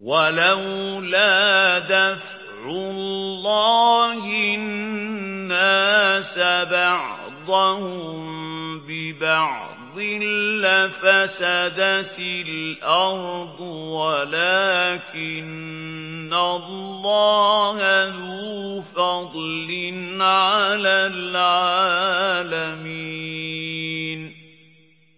وَلَوْلَا دَفْعُ اللَّهِ النَّاسَ بَعْضَهُم بِبَعْضٍ لَّفَسَدَتِ الْأَرْضُ وَلَٰكِنَّ اللَّهَ ذُو فَضْلٍ عَلَى الْعَالَمِينَ